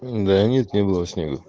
да нет не было снега